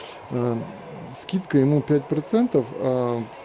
скидка ему пять процентов